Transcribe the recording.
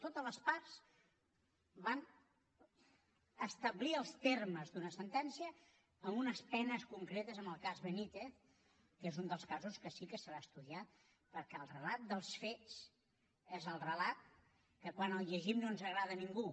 totes les parts van establir els termes d’una sentència amb unes penes concretes en el cas benítez que és un dels casos que sí que serà estudiat perquè el relat dels fets és el relat que quan el llegim no ens agrada a ningú